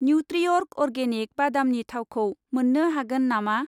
न्युत्रिअर्ग organic बादामनि थावखौ मोन्नो हागोन नामा?